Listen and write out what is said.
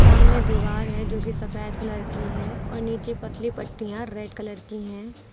सामने दीवार है जो कि सफेद कलर की है और नीचे पतली पट्टियां रेड कलर की हैं।